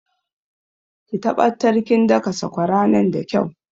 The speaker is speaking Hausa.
Ki taɓattar kin daka sakwara nan da kyau